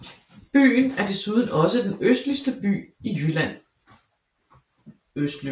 Byen er desuden også den østligste by i Jylland